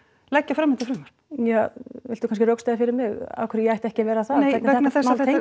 leggja fram þetta frumvarp ja viltu kannski rökstyðja fyrir mig af hverju ég ætti ekki að vera það vegna þess að